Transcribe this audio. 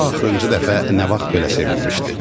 O axırıncı dəfə nə vaxt belə sevinmişdi.